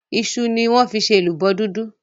iṣu ni wón fí ṣe èlùbọ́ dúdú.